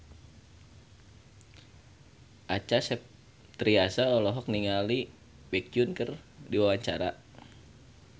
Acha Septriasa olohok ningali Baekhyun keur diwawancara